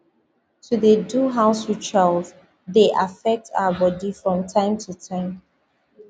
to dey do house ritual dey affect our body from time to time